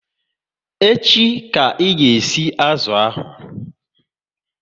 Echi ka ị ga e si azụ ahụ!